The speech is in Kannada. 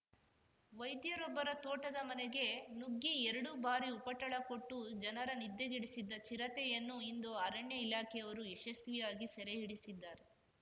ವೈದ್ಯರೊಬ್ಬರ ತೋಟದ ಮನೆಗೆ ನುಗ್ಗಿ ಎರಡು ಬಾರಿ ಉಪಟಳ ಕೊಟ್ಟು ಜನರ ನಿದ್ದೆಗೆಡಿಸಿದ್ದ ಚಿರತೆಯನ್ನು ಇಂದು ಅರಣ್ಯ ಇಲಾಖೆಯವರು ಯಶಸ್ವಿಯಾಗಿ ಸೆರೆಹಿಡಿಸಿದ್ದಾರೆ